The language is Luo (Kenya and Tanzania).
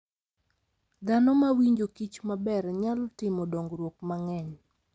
Dhanomawinjo kich maber nyalo timo dongruok mang'eny.